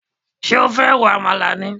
Ṣé o fẹ́ ro àmàlà ni?